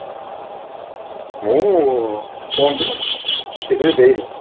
ମୁଁ phone ରେ TV ରେ ଦେଇନି